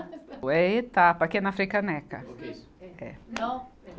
É Etapa, que é na Frei Caneca. É.